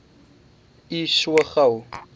u so gou